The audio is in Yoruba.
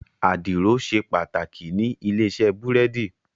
Àdìrò ṣé pàtákí ni ilé-isè búrèdí